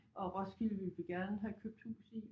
Og Roskilde ville vi gerne have købt hus i